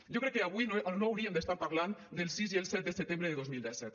jo crec que avui no hauríem d’estar parlant del sis i el set de setembre de dos mil disset